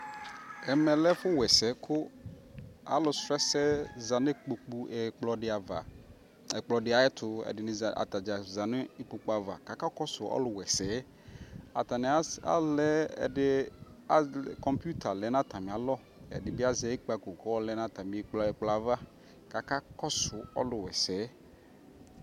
Ɛmɛ lɛ ɛfu wɛ sɛ ku alu srɔ ɛsɛ za nu ikpoku ɛkplɔ di ya va ɛkplɔ di ayɛ tuƐdini atadza za nu ikpoku avaka ka kɔ su ɔlu wɛ sɛɛAtani azɛ alɛ ɛdi kɔmputa lɛ nu ata mi alɔƐdi bi azɛ ikpako kɔlɛ nu ata mi ɛkplɔ yɛ avaKa ka kɔ su ɔlu wɛ sɛ yɛ